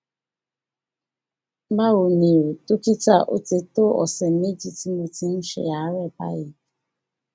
báwo ni o dókítà ó ti tó ọsẹ méjì tí mo ti ń um ṣe àárẹ báyìí